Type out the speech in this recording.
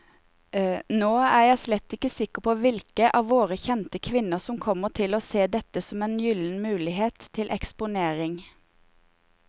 Nå er jeg slett ikke sikker på hvilke av våre kjente kvinner som kommer til å se dette som en gyllen mulighet til eksponering.